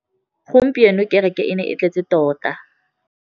Gompieno kêrêkê e ne e tletse tota.